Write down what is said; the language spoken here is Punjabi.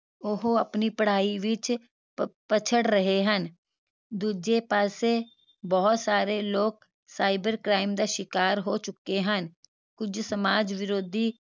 ਉਹ ਆਪਣੀ ਪੜ੍ਹਾਈ ਵਿਚ ਪ ਪਛੜ ਰਹੇ ਹਨ ਦੂਜੇ ਪਾਸੇ ਬਹੁਤ ਸਾਰੇ ਲੋਕ cyber crime ਦਾ ਸ਼ਿਕਾਰ ਹੋ ਚੁਕੇ ਹਨ ਕੁਝ ਸਮਾਜ ਵਿਰੋਧੀ